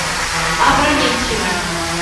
опрометчивый